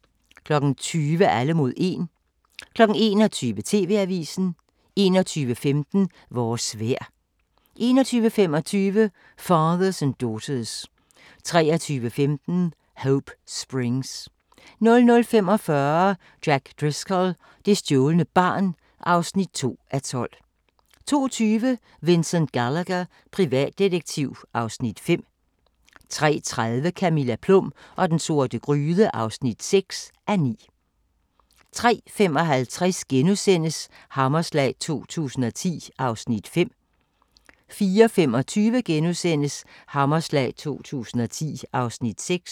20:00: Alle mod 1 21:00: TV-avisen 21:15: Vores vejr 21:25: Fathers & Daughters 23:15: Hope Springs 00:45: Jack Driscoll – det stjålne barn (2:12) 02:20: Vincent Gallagher, privatdetektiv (Afs. 5) 03:30: Camilla Plum og den sorte gryde (6:9) 03:55: Hammerslag 2010 (Afs. 5)* 04:25: Hammerslag 2010 (Afs. 6)*